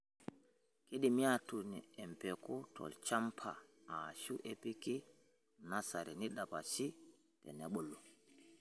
Keidimi aatun empeku tolchamaba aashu epiki nasari neidapashi tenebulu.